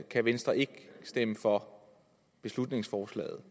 at venstre ikke kan stemme for beslutningsforslaget